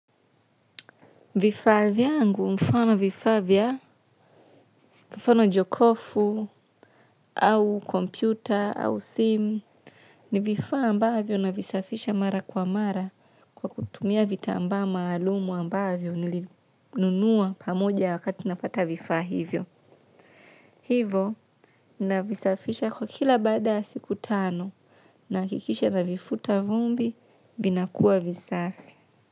Vifaa vyangu, mfano vifavya, mfano jokofu, au kompyuta, au sim, ni vifaa ambavyo navisafisha mara kwa mara kwa kutumia vitambaa maalumu ambavyo nilinunua pamoja wakati napata vifaa hivyo. Hivyo, navisafisha kwa kila baada ya siku tano, nahakikisha navifuta vumbi, vinakua visafi.